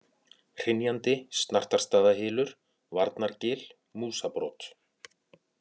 Hrynjandi, Snartarstaðahylur, Varnargil, Músabrot